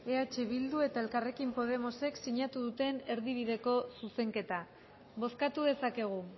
eh bildu eta elkarrekin podemosek sinatu duten erdibideko zuzenketa bozkatu dezakegu